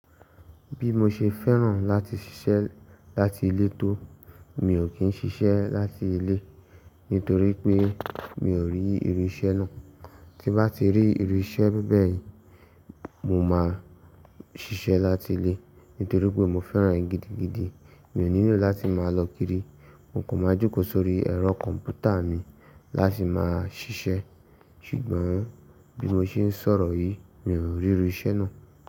Bí mo ṣe fẹ́ràn láti ṣiṣẹ́ láti ilé tó, mi ò kí ń ṣiṣẹ́ láti ilé torí pé mi ò rí irú iṣẹ́ náà. Tí bá ti rí irú iṣẹ́ bẹ́ẹ̀ yìí, mo máa ṣiṣẹ́ láti ilé torí pé mo fẹ́ràn èyí gidigidi. Mi ò nílò láti máa lọ kiri, mo kò máa jókòó sórí ẹ̀rọ kọ̀m̀pútà mi láti máa ṣiṣẹ́. Ṣùgbọ́n bí mo ṣe ń sọ̀rọ̀ yìí, mi ò rí irú iṣẹ́ náà.